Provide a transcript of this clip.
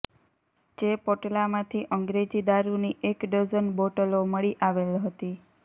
જે પોટલામાંથી અંગ્રેજી દારૂની એક ડઝન બોટલો મળી આવેલ હતી